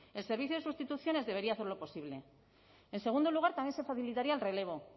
el servicio de sustituciones debería hacerlo posible en segundo lugar también se facilitaría el relevo